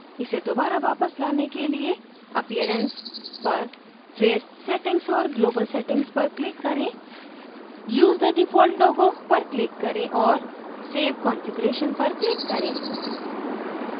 इसे दोबारा वापस लाने के लिए appearance पर फिर settings और global settings पर click करें use the default logo पर click करें और save configuration पर click करें